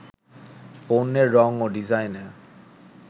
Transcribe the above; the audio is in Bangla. পণ্যের রং ও ডিজাইনে